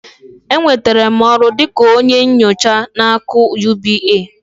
Enwetara m ọrụ dị ka onye nyocha na AKỤ UBA